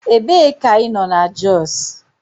Ebee ka ị nọ na Jos?